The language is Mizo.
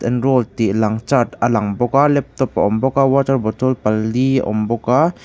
enrolled tih lang chart a lang bawk a laptop a awm bawk a water bottle pali awm bawk a.